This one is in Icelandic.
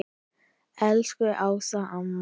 Elsku Ása amma.